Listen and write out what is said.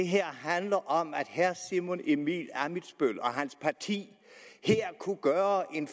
her handler om at herre simon emil ammitzbøll og hans parti her kunne gøre en